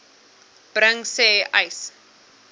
bring sê uys